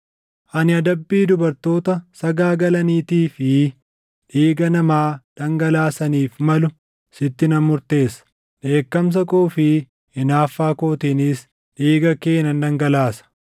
Ani adabbii dubartoota sagaagalaniitii fi dhiiga namaa dhangalaasaniif malu sitti nan murteessa; dheekkamsa koo fi hinaaffaa kootiinis dhiiga kee nan dhangalaasa.